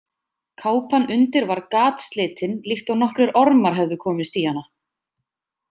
Kápan undir var gatslitin líkt og nokkrir ormar hefðu komist í hana.